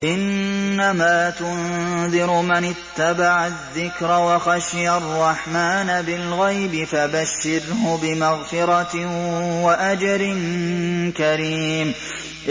إِنَّمَا تُنذِرُ مَنِ اتَّبَعَ الذِّكْرَ وَخَشِيَ الرَّحْمَٰنَ بِالْغَيْبِ ۖ فَبَشِّرْهُ بِمَغْفِرَةٍ وَأَجْرٍ كَرِيمٍ